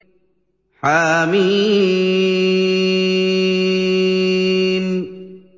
حم